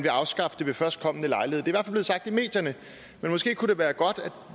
afskaffe det ved førstkommende lejlighed det er fald blevet sagt i medierne men måske kunne det være godt